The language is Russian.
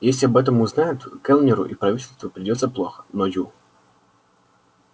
если об этом узнают кэллнеру и правительству придётся плохо но ю